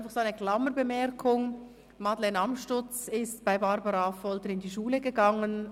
Eine Klammerbemerkung: Madeleine Amstutz ist bei Barbara Affolter zur Schule gegangen.